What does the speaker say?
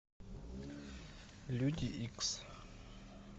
люди икс